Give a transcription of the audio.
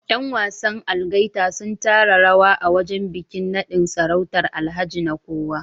Yan wasan Algaita sun taka rawa a wajen bikin nadin sarautar Alhaji Nekowa